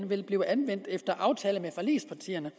vil blive anvendt efter aftale med forligspartierne